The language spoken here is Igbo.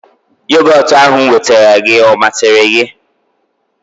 Yogotu ahụ m nwetara gị ọ masịrị gị?